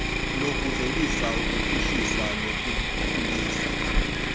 lokuvelisa ukuphuhliswa nokukhuliswa